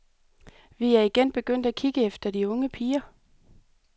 Vi er igen begyndt at kikke efter de unge piger.